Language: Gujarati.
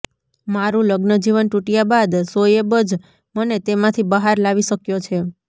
મારું લગ્નજીવન તૂટ્યા બાદ શોએબ જ મને તેમાંથી બહાર લાવી શક્યો છે